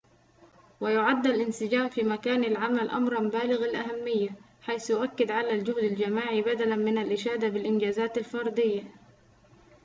و يُعد الانسجام في مكان العمل أمراَ بالغ الأهمية حيث يؤكد على الجهد الجماعي بدلاً من الإشادة بالإنجازات الفردية